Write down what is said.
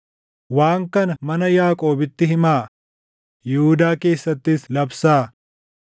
“Waan kana mana Yaaqoobitti himaa; Yihuudaa keessattis labsaa: